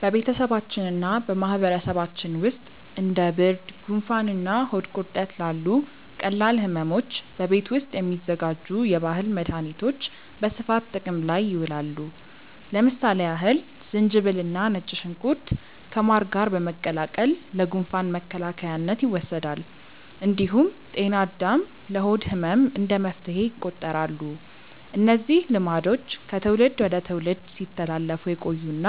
በቤተሰባችንና በማህበረሰባችን ውስጥ እንደ ብርድ፣ ጉንፋንና ሆድ ቁርጠት ላሉ ቀላል ሕመሞች በቤት ውስጥ የሚዘጋጁ የባህል መድኃኒቶች በስፋት ጥቅም ላይ ይውላሉ። ለምሳሌ ያህል ዝንጅብልና ነጭ ሽንኩርት ከማር ጋር በመቀላቀል ለጉንፋን መከላከያነት ይወሰዳል። እንዲሁም ጤና አዳም ለሆድ ህመም እንደ መፍትሄ ይቆጠራሉ። እነዚህ ልማዶች ከትውልድ ወደ ትውልድ ሲተላለፉ የቆዩና